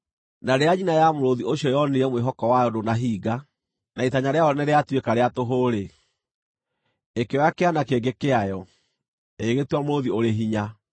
“ ‘Na rĩrĩa nyina ya mũrũũthi ũcio yoonire mwĩhoko wayo ndũnahinga, na itanya rĩayo nĩrĩatuĩka rĩa tũhũ-rĩ, ĩkĩoya kĩana kĩngĩ kĩayo, ĩgĩgĩtua mũrũũthi ũrĩ hinya.